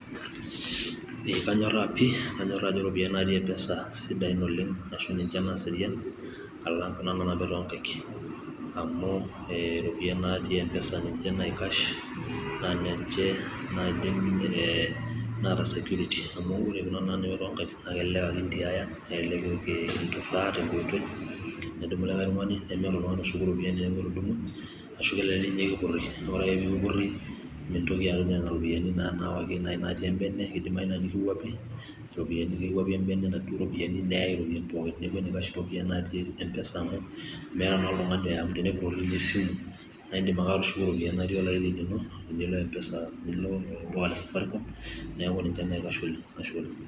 Ee kanyorra pi' kanyorra ajo iropiyiani natii Mpsa esidan ashu ninche naaserian alang' Nena naanapi too Nkaik, amu iropiyiani natii Mpsa ninche naikas ee naa ninche naata security amu ore Kuna naanapi tonkaik nelelek ake entiaya inturraa tenkoitoi, nedumu likae tung'ani nemeeta oltung'ani oshuku iropiyiani teneeku etudumwa, ashu kelelek ninye kipurri naa ore ake pee kipurri meintoki atum Nena ropiyiani naawaki natii ebene, ebaki newuapari nikiyai enaduo ropiyiani natii ebene neaku enaikash iropiyiani Mpsa amu meeta naa oltung'ani oya amu tenepurrori ninye esimu, naa iidim ake atushuku iropiyiani natii olaini lino, tinilo Mpsa olduka le safaricom neaku ninche naikash oleng',Ashe oleng'.